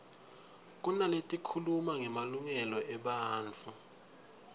kunaletikhuluma ngemalungelo ebantfu